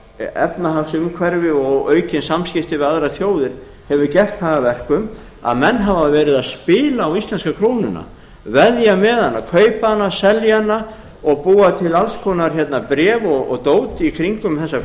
efnahagsumhverfi og aukin samskipti við aðrar þjóðir hefur gert það að verkum að menn hafa verið að spila á íslensku krónuna veðja með hana kaupa hana selja hana og búa til alls konar bréf og dót í kringum þessa